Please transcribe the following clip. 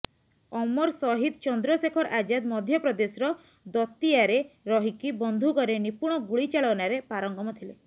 ଅମର ସହିଦ ଚନ୍ଦ୍ରଶେଖର ଆଜାଦ ମଧ୍ୟପ୍ରଦେଶର ଦତିୟାରେ ରହିକି ବନ୍ଧୁକରେ ନିପୁଣ ଗୁଳିଚାଳନାରେ ପାରଙ୍ଗମ ଥିଲେ